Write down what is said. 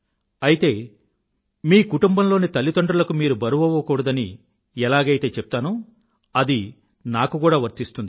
అయితే మీ కుటుంబంలోని తల్లిదండ్రులకు మీరు బరువవ్వకూడదని ఎలాగైతే చెప్తానో అది నాకు కూడా వర్తిస్తుంది